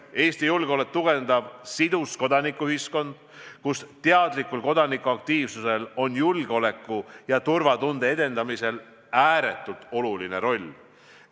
Eesti julgeolekut tugevdab sidus kodanikuühiskond, kus teadlikul kodanikuaktiivsusel on julgeoleku ja turvatunde edendamisel ääretult oluline roll.